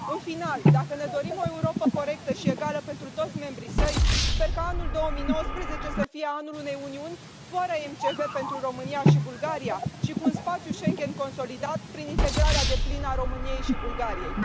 În final, dacă ne dorim o Europă corectă și egală pentru toți membrii săi, sper ca anul 2019 să fie anul unei Uniuni fără MCV pentru România și Bulgaria și cu un spațiu Schengen consolidat, prin integrarea deplină a României și Bulgariei.